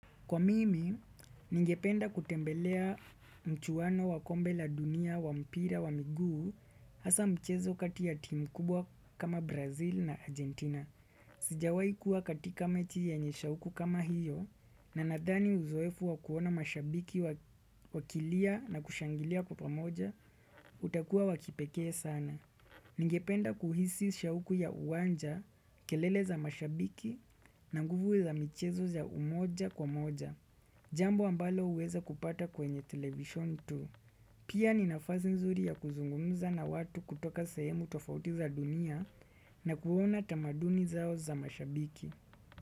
Kwa mimi, ningependa kutembelea mchuwano wa kombe la dunia wa mpira wa miguu hasa mchezo katia timu kubwa kama Brazil na Argentina. Sijawai kuwa katika mechi ya nyesha uku kama hiyo na nadani uzoefu wa kuona mashabiki wakilia na kushangilia kwapamoja, utakuwa wakipekee sana. Ningependa kuhisi shauku ya uwanja, kelele za mashabiki na nguvu ya mchezo za umoja kwa moja. Jambo ambalo uweza kupata kwenye television tu. Pia ni nafasi nzuri ya kuzungunza na watu kutoka sehemu tofauti za dunia na kuona tamaduni zao za mashabiki.